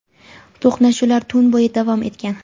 to‘qnashuvlar tun bo‘yi davom etgan.